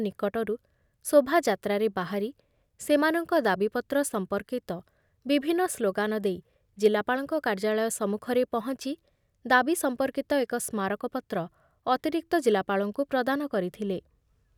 ନିକଟରୁ ଶୋଭାଯାତ୍ରାରେ ବାହାରି ସେମାନଙ୍କ ଦାବିପତ୍ର ସଂପର୍କିତ ବିଭିନ୍ନ ସ୍ଲୋଗାନ ଦେଇ ଜିଲ୍ଲାପାଳଙ୍କ କାର୍ଯ୍ୟାଳୟ ସମ୍ମୁଖରେ ପହଞ୍ଚି ଦାବି ସଂପର୍କିତ ଏକ ସ୍ମାରକପତ୍ର ଅତିରିକ୍ତ ଜିଲ୍ଲାପାଳଙ୍କୁ ପ୍ରଦାନ କରିଥିଲେ ।